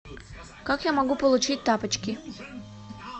как я могу получить тапочки